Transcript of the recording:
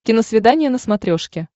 киносвидание на смотрешке